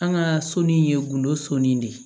An ka so ni ye gindo sɔnni de ye